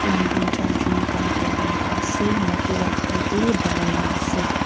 teenjon charjon Kam kurikae na boiase mati la opor tae banaina ase.